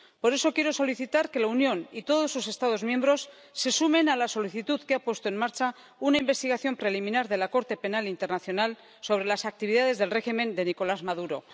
Por eso quiero solicitar que la Unión y todos sus Estados miembros se sumen a la solicitud que ha puesto en marcha una investigación preliminar de la Corte Penal Internacional sobre las actividades del régimen de Nicolás Maduro.